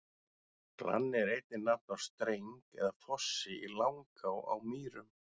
Glanni er einnig nafn á streng eða fossi í Langá á Mýrum.